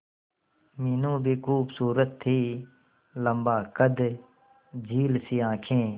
मीनू भी खूबसूरत थी लम्बा कद झील सी आंखें